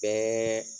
Bɛɛ